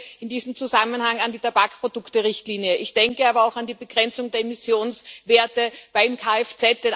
Ich denke in diesem Zusammenhang an die Tabakprodukterichtlinie, ich denke aber auch an die Begrenzung der Emissionswerte bei Kfz.